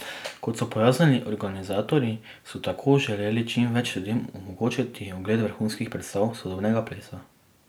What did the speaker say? Kot so pojasnili organizatorji, so tako želeli čim več ljudem omogočiti ogled vrhunskih predstav sodobnega plesa.